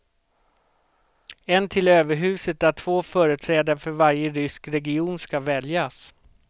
En till överhuset där två företrädare för varje rysk region ska väljas.